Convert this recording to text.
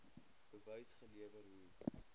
bewys gelewer hoe